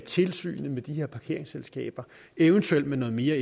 tilsynet med de her parkeringsselskaber eventuelt med noget mere